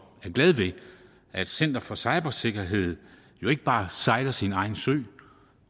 glad ved at center for cybersikkerhed jo ikke bare sejler sin egen sø